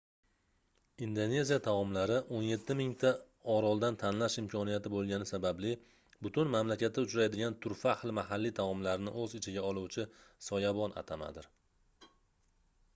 indoneziya taomlari 17 000 ta oroldan tanlash imkoniyati boʻlgani sababli butun mamlakatda uchraydigan turfa xil mahalliy taomlarni oʻz ichiga oluvchi soyabon atamadir